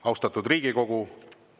Austatud Riigikogu!